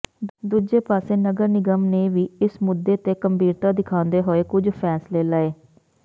ਦੂਜੇ ਪਾਸੇ ਨਗਰ ਨਿਗਮ ਨੇ ਵੀ ਇਸ ਮੁੱਦੇ ਤੇ ਗੰਭੀਰਤਾ ਦਿਖਾਉਂਦੇ ਹੋਏ ਕੁਝ ਫੈਂਸਲੇ ਲਏ